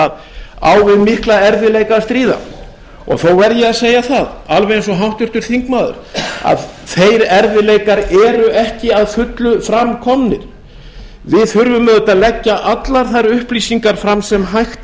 á við mikla erfiðleika að stríða þó er ég að segja það alveg eins og háttvirtur þingmaður að þeir erfiðleikar eru ekki að fullu fram komnir við þurfum auðvitað að leggja allar þær upplýsingar fram sem hægt